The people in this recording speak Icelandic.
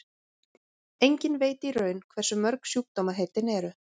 enginn veit í raun hversu mörg sjúkdómaheitin eru